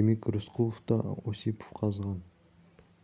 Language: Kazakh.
демек рысқұлов та осипов қазған